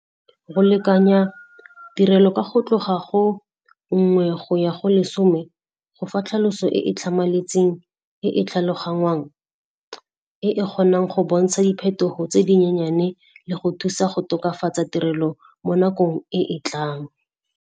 Re lekanya tirelo ka go tloga go nngwe go ya go lesome go fa tlhaloso e e tlhamaletseng, e e tlhaloganngwang, e e kgonang go bontsha diphetogo tse dinyenyane le go thusa go tokafatsa tirelo mo nakong e e tlang.